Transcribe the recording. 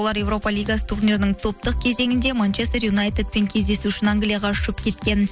олар европа лигасы турнирінің топтық кезеңінде манчестер юнайтедпен кездесу үшін англияға ұшып кеткен